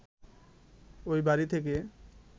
ঐ বাড়ি থেকে